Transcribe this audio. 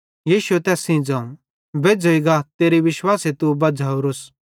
यीशुए तैस सेइं ज़ोवं बेज्झ़ोईं गा तेरे विश्वासे तू बज़्झ़ावरिस